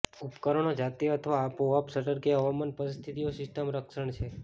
ઉપકરણો જાતે અથવા આપોઆપ શટર કે હવામાન પરિસ્થિતિઓ સિસ્ટમ રક્ષણ છે